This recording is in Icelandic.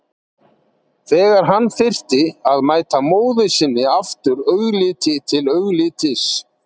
Þegar hann þyrfti að mæta móður sinni aftur augliti til auglitis.